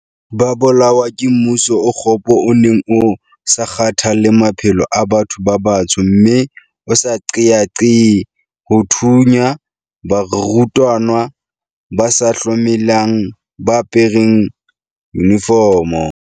Ba bolawa ke mmuso o kgopo o neng o sa kgathalle maphelo a batho ba batsho mme o sa qeaqee ho thunya barutwana ba sa hlomelang ba apereng yunifomo.